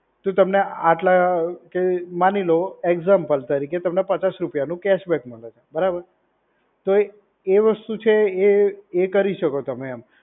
તો તમે આટલા કે માની લો એક્ઝામ્પલ તરીકે તમને પચાસ રૂપિયાનું કેશબેક મળ્યો છે, બરાબર? તો એ વસ્તુ છે એ એ કરી શકો તમે એમ.